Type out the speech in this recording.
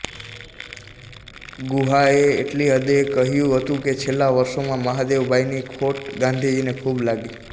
ગુહાએ એટલી હદે કહ્યું હતું કે છેલ્લાં વર્ષોમાં મહાદેવભાઈની ખોટ ગાંધીજીને ખૂબ લાગી